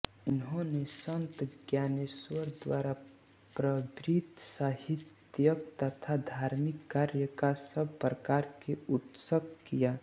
इन्होंने संत ज्ञानेश्वर द्वारा प्रवृत्त साहित्यिक तथा धार्मिक कार्य का सब प्रकार से उत्कर्ष किया